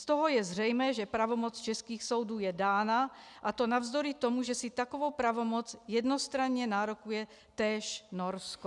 Z toho je zřejmé, že pravomoc českých soudů je dána, a to navzdory tomu, že si takovou pravomoc jednostranně nárokuje též Norsko.